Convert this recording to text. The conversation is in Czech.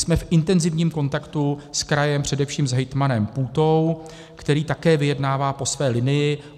Jsme v intenzivním kontaktu s krajem, především s hejtmanem Půtou, který také vyjednává po své linii.